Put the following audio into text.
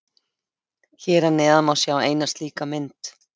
Hér að neðan má sjá eina slíka mynd.